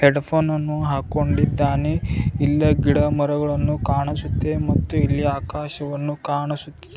Head ಫೋನ ನನ್ನು ಹಾಕೊಂಡಿದ್ದಾನೆ ಇಲ್ಲ ಗಿಡ ಮರಗಳನ್ನು ಕಾಣಿಸುತ್ತೆ ಮತ್ತು ಇಲ್ಲ ಆಕಾಶವನ್ನು ಕಾಣಿಸುತ್ತಿದೆ.